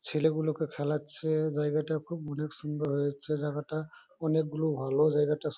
ছেলেগুলোকে খেলাচ্ছে। জায়গাটা খুব অনেক সুন্দর হয়েগেছে জায়গাটা। অনেকগুলো ভালো--